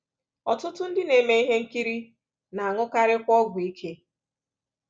Ọtụtụ ndị na-eme ihe nkiri na-anwụkarikwa ọgwụ ike.